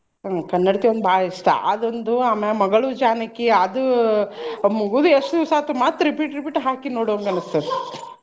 ಹ್ಮ್ ಕನ್ನಡತಿ ಒಂದ್ ಭಾಳ್ ಇಷ್ಟಾ ಅದೊಂದು ಮಗಳು ಜಾನಕಿ ಅದು ಮುಗುದು ಎಷ್ಟು ದಿವ್ಸ ಆತು ಮತ್ತ್ repeat repeat ಹಾಕಿ ನೋಡೋವಂಗ ಅನ್ನಿಸ್ತೈತಿ .